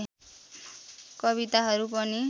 कविताहरू पनि